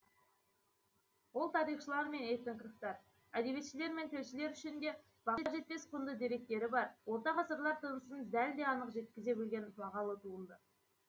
ол тарихшылар мен этнографтар әдебиетшілер мен тілшілер үшін де баға жетпес құнды деректері бар орта ғасырлар тынысын дәл де анық жеткізе білген бағалы туынды